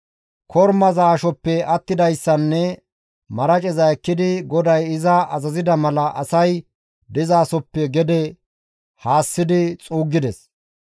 Kormaza ashoppe attidayssanne maraceza ekkidi GODAY iza azazida mala asay dizasoppe gede haassidi xuuggides.